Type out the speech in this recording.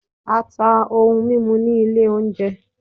a ta ohún mimú ní ilé oúnjẹ.